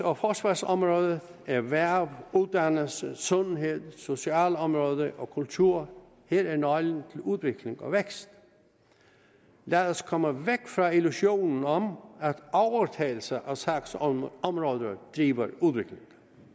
og forsvarsområdet erhverv uddannelse sundhed socialområdet og kultur er hele nøglen til udvikling og vækst lad os komme væk fra illusionen om at overtagelse af sagsområder driver udviklingen